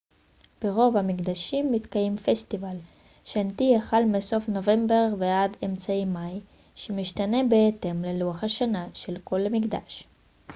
ברוב המקדשים מתקיים פסטיבל שנתי החל מסוף נובמבר ועד אמצע מאי שמשתנה בהתאם ללוח השנה של כל מקדש